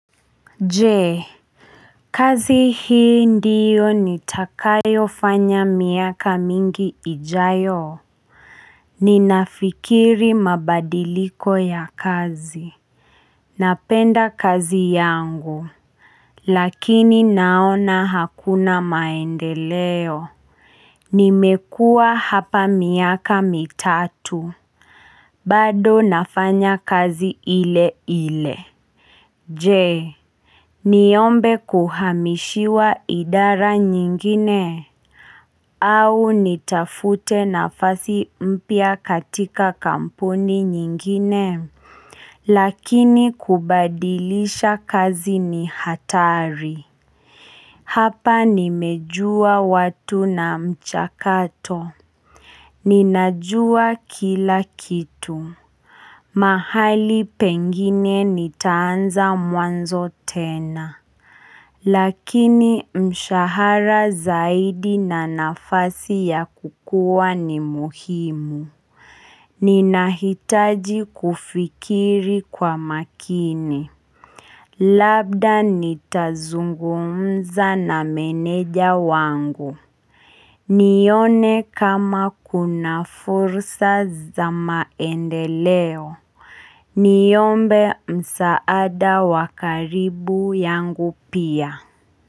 Jee kazi hii ndiyo nitakayo fanya miaka mingi ijayo Ninafikiri mabadiliko ya kazi Napenda kazi yangu Lakini naona hakuna maendeleo Nimekua hapa miaka mitatu bado nafanya kazi ile ile Jee Niyombe kuhamishiwa idara nyingine au nitafute nafasi mpia katika kampuni nyingine Lakini kubadilisha kazi ni hatari Hapa nimejua watu na mchakato Ninajua kila kitu mahali pengine nitaanza muanzo tena Lakini mshahara zaidi na nafasi ya kukua ni muhimu Ninahitaji kufikiri kwa makini Labda nitazungumza na meneja wangu nione kama kuna fursa za maendeleo Niyombe msaada wakaribu yangu pia.